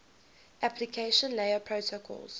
application layer protocols